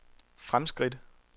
fremskridt